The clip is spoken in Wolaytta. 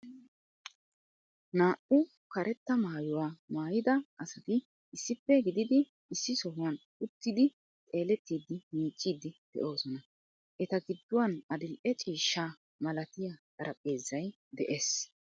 Naa"u karetta maayuwa maayyida asati issippe gididi issi sohuwan uttidi xeelettidi miicciidi de'oosona. Eta gidduwan adil"e ciishshaa malatiya xarphpheezay de'ees,